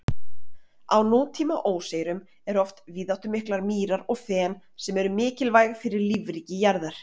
Á nútíma óseyrum eru oft víðáttumiklar mýrar og fen, sem eru mikilvæg fyrir lífríki jarðar.